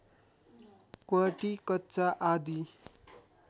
क्वाँटी कच्चा आदि